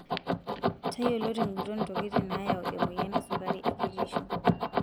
Tayiolo tenguton ntokitin naayau emoyian esukari ekitisho.